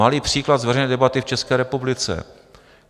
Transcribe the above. Malý příklad z veřejné debaty v České republice.